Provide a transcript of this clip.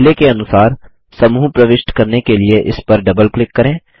पहले के अनुसार समूह प्रविष्ट करने के लिए इस पर डबल क्लिक करें